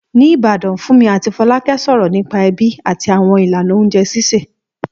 Ní Ìbàdàn, Fúnmi àti Fọlákẹ́ sọ̀rọ̀ nípa ẹbí àti àwọn ìlànà oúnjẹ sísè.